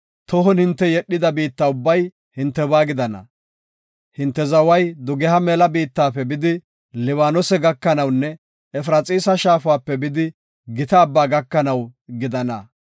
Tohon hinte yedhida biitta ubbay hintebaa gidana. Hinte zaway dugeha mela biittafe bidi Libaanose gakanawunne Efraxiisa shaafape bidi Gita Abbaa gakanaw gidana.